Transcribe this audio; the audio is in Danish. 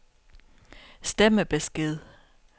stemmebesked